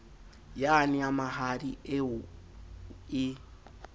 yane ya mahadi eo e